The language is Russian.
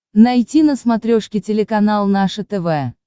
найти на смотрешке телеканал наше тв